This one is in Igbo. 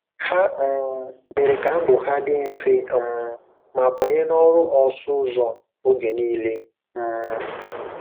Ha um mere ka ndụ ha dị mfe um ma banye n'ọrụ ọsụ ụzọ oge nile um.